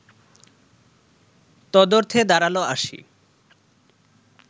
তদর্থে দাঁড়াল আসি